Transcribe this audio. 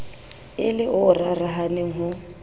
e le o rarahaneng ho